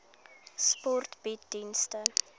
sport bied dienste